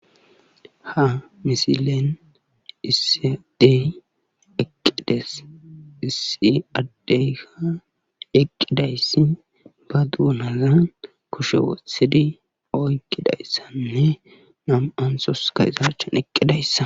Hagga misilen issi adde eqqis issi addekka eqqizayssi ba doonazan kushe wotizi oyqidayssanne nam'antoskka eeta achchan eqqidayssata.